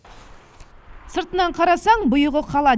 сыртынан қарасаң бұйығы қала